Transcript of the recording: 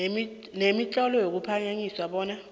nemitlolo ekuphakanyiswa bona